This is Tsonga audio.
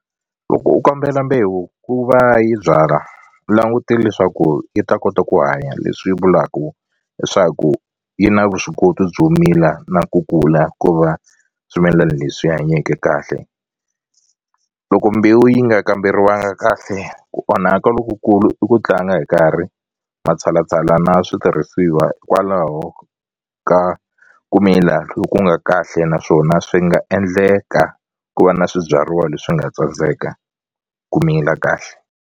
Loko u kombela mbewu ku va yi byala langutele leswaku yi ta kota ku hanya leswi vulaku leswaku yi na vuswikoti byo mila na ku kula ku va swimilani leswi hanyake kahle loko mbewu yi nga kamberiwanga kahle ku onhaka lokukulu i ku tlanga hi nkarhi matshalatshala na switirhisiwa hikwalaho ka ku mila loku nga kahle naswona swi nga endleka ku va na swibyariwa leswi nga tsandzeka ku mila kahle.